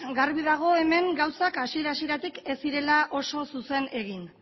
garbi dago hemen gauzak hasieratik hasietatik ez zirela oso zuzen egin